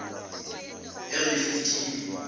erefidimi